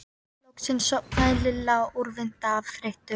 Loksins sofnaði Lilla úrvinda af þreytu.